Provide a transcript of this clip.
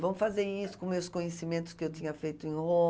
Vamos fazer isso com os meus conhecimentos que eu tinha feito em